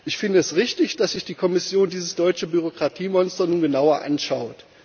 Ich finde es richtig, dass sich die Kommission dieses deutsche Bürokratiemonster nun genauer anschaut.